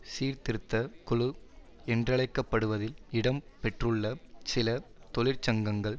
சீர்திருத்த குழு என்றழைக்க படுவதில் இடம் பெற்றுள்ள சில தொழிற்சங்கங்கள்